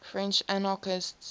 french anarchists